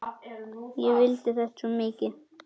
Ég vildi þetta svo mikið.